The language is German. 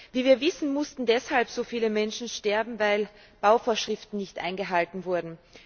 Wie wir wissen, mussten deshalb so viele Menschen sterben, weil Bauvorschriften nicht eingehalten wurden.